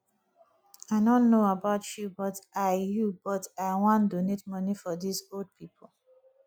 i no know about you but i you but i wan donate money for dis old people